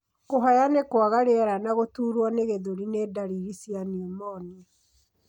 Kũhaya nĩkwaga rĩera na gũturwo nĩ gĩthũri nĩ ndariri cia pneumonia.